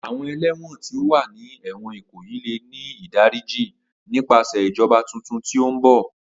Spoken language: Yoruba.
Awọn ẹlẹwọn ti o wa ni ẹwọn Ikoyi le jẹ idariji nipasẹ ijọba titun ti mbọ.